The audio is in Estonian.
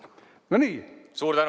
Suur tänu!